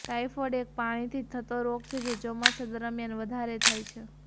typhoid એક પાણીથી થતો રોગ છે જે ચોમાસા દરમિયાન વધારે થાય છે